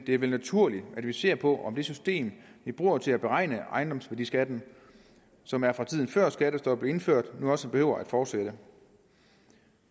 det er vel naturligt at vi ser på om det system vi bruger til at beregne ejendomsværdiskatten som er fra tiden før skattestoppet blev indført nu også behøver at fortsætte